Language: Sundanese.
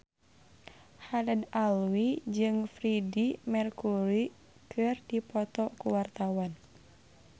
Haddad Alwi jeung Freedie Mercury keur dipoto ku wartawan